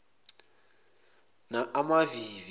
amavivi